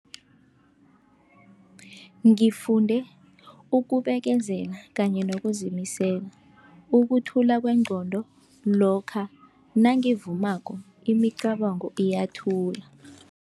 Ngifunde ukubekezela kanye nokuzimisela, ukuthula kwengqondo lokha nangivumako imicabango iyathula.